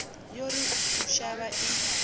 yo ri u shavha i